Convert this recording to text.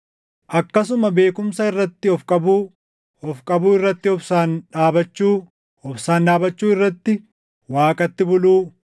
akkasuma beekumsa irratti of qabuu, of qabuu irratti obsaan dhaabachuu, obsaan dhaabachuu irratti Waaqatti buluu,